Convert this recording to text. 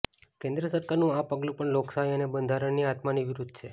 કેન્દ્ર સરકારનું આ પગલું પણ લોકશાહી અને બંધારણની આત્માની વિરુદ્ધ છે